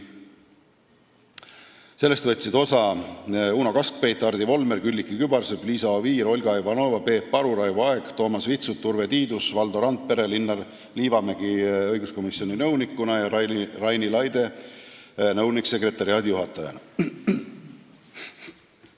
Sellest võtsid osa Uno Kaskpeit, Hardi Volmer, Külliki Kübarsepp, Liisa Oviir, Olga Ivanova, Peep Aru, Raivo Aeg, Toomas Vitsut, Urve Tiidus ja Valdo Randpere ning Linnar Liivamägi õiguskomisjoni nõunikuna ja Raini Laide nõunik-sekretariaadijuhatajana.